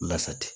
Lasa tɛ